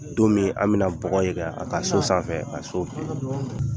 Don min na anw bɛna bɔgɔ a ka so sanfɛ.